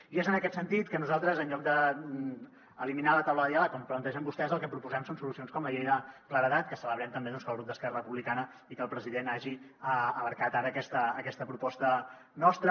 i és en aquest sentit que nosaltres en lloc d’eliminar la taula de diàleg com plantegen vostès el que proposem són solucions com la llei de claredat que celebrem també doncs que el grup d’esquerra republicana i que el president hagin abraçat ara aquesta proposta nostra